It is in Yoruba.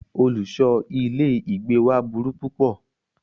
Olùṣọ ilé ìgbé wa burú púpọ̀.